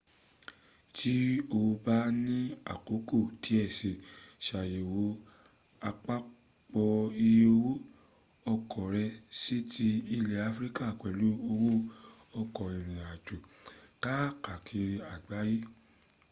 tí o bá ní àkókò díẹ̀ si ṣàyẹ̀wò àpapọ̀ iye owó ọkọ̀ rẹ sí ti ilẹ̀ africa pẹ̀lú owó ọkọ̀ ìrìn àjò káàkiri àgbáyé